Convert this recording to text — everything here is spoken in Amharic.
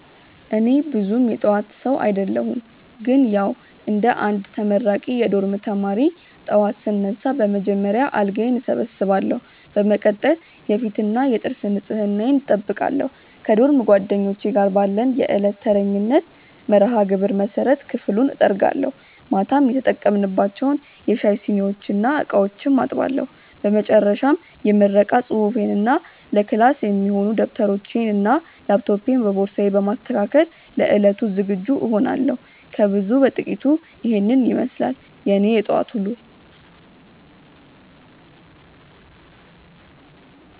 እኔ ብዙም የጠዋት ሰው አደለሁም ግን ያዉ እንደ አንድ ተመራቂ የዶርም ተማሪ፣ ጠዋት ስነሳ በመጀመሪያ አልጋዬን እሰበስባለሁ። በመቀጠል የፊትና የጥርስ ንጽህናዬን እጠብቃለሁ። ከዶርም ጓደኞቼ ጋር ባለን የዕለት ተረኛነት መርሃግብር መሰረት ክፍሉን እጠርጋለሁ፤ ማታ የተጠቀምንባቸውን የሻይ ሲኒዎችና ዕቃዎችም አጥባለሁ። በመጨረሻም የምረቃ ፅሁፌንና ለክላስ የሚሆኑ ደብተሮቼንና ላፕቶፔን በቦርሳዬ በማስተካከል ለዕለቱ ዝግጁ እሆናለሁ። ከብዙ በጥቂቱ ኢሄን ይመስላል የኔ የጠዋት ዉሎ።